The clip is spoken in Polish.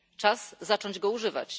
Czas zacząć go używać.